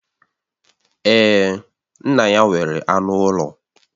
Èè, nna ya nwere anụ ụlọ